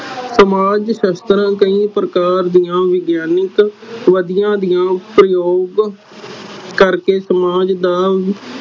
ਸਮਾਜ ਸਾਸਤ੍ਰ ਕਈ ਪ੍ਰਕਾਰ ਦੀਆ ਵਿਗਿਆਨਿਕ ਵਿਧੀਆਂ ਦੀਆ ਪ੍ਰਜੋਗ ਕਰਕੇ ਸਮਾਜ ਦਾ